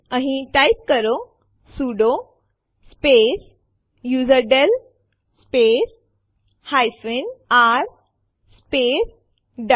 અહીં ટાઈપ કરો sudo space userdel space r space duck